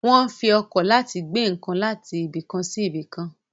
Wọ́n ń fi ọkọ̀ láti gbé nǹkan láti ibìkan sí ibìkan.